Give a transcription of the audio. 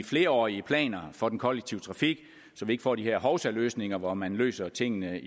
flerårige planer for den kollektive trafik så vi ikke får de her hovsaløsninger hvor man løser tingene